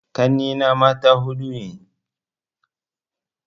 Ƙanne na mata huɗu ne